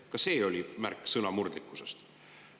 Ka see oli märk sõnamurdlikkusest.